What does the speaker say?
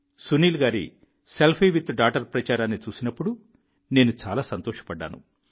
సునీల్ గారి selfie with daughter ప్రచారాన్ని చూసినప్పుడు నేను చాలా సంతోషపడ్డాను